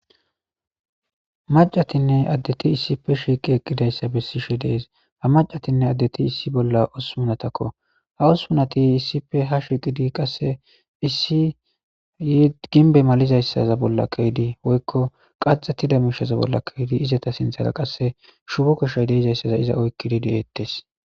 Mac'c'atine adeti isipe shiqi eqidaysa besishe de'es ha mac'c'atine adeti isi bolan hopunatako ha hospunati isipe ha shiqidi qase issi gimbe malizaysa bolan ke'di woyko qachetida misha bola ke'zi izatape sintara qase shoqa sohoy dizaysa iza oykidi de'etes.